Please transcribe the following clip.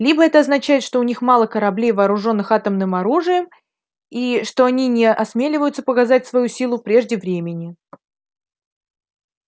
либо это означает что у них мало кораблей вооружённых атомным оружием и что они не осмеливаются показывать свою силу прежде времени